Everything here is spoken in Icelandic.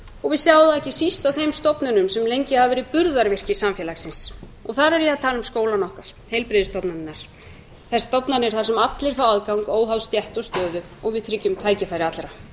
og við sjáum það ekki síst á þeim stofnunum sem lengi hafa verið burðarvirki samfélagsins og þar er ég að tala um skólana okkar heilbrigðisstofnanirnar þær stofnanir þar sem allir fá aðgang óháð stétt og stöðu og við tryggjum tækifæri allra